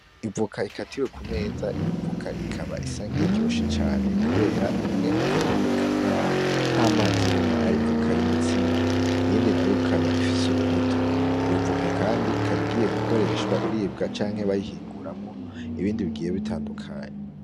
Ivoka ikatiwe ku meza iyo voka ikaba isa nkiyiryoshe cane kubera imwe ikaba iboneka nkaho ntamazi arimwo ari ivoka yumutsima iyindi nayo ikaba ifise urubuto, iyo voka kandi ikaba igiye gukoreshwa iribwa canke bayihinguramwo ibindi bigiye bitandukanye.